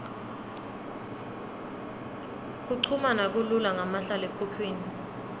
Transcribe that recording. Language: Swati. kuchumana kulula ngamahlalekhukhwini